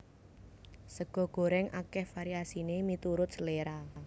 Sega gorèng akèh variasiné miturut seléra